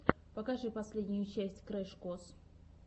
покажи последнюю часть крэш кос